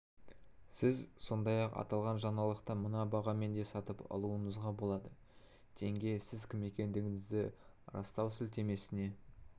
сіз сондай-ақ аталған жаңалықты мына бағамен де сатып алуыңызға болады тенге сіз кім екендігіңізді растау сілтемесіне